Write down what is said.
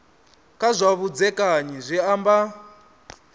kha zwa vhudzekani zwi amba